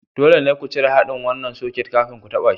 Dole ne ku cire haɗin wannan soket kafin ku taɓa shi.